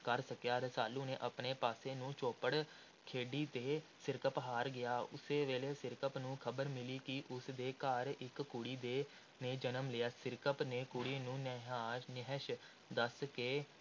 ਕਰ ਸਕਿਆ। ਰਸਾਲੂ ਨੇ ਆਪਣੇ ਪਾਸੇ ਨਾਲ ਚੌਪੜ ਖੇਡੀ ਅਤੇ ਸਿਰਕੱਪ ਹਾਰ ਗਿਆ। ਉਸ ਵੇਲੇ ਸਿਰਕੱਪ ਨੂੰ ਖ਼ਬਰ ਮਿਲੀ ਕਿ ਉਸ ਦੇ ਘਰ ਇਕ ਕੁੜੀ ਦੇ ਨੇ ਜਨਮ ਲਿਆ ਹੈ। ਸਿਰਕੱਪ ਨੇ ਕੁਡ਼ੀ ਨੂੰ ਨੇਹਾਸ਼ ਨਹਿਸ਼ ਦੱਸ ਕੇ